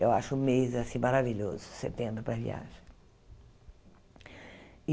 Eu acho o mês assim maravilhoso, setembro, para viagem.